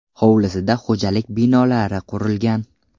Hovlisida xo‘jalik binolari qurilgan.